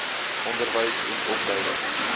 onderwys en opleiding